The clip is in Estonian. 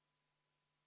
Austatud Riigikogu!